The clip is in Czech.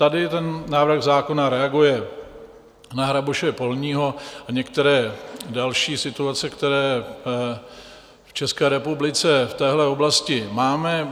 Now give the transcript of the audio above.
Tady ten návrh zákon reaguje na hraboše polního a některé další situace, které v České republice v téhle oblasti máme.